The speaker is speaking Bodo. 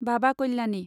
बाबा काल्यानि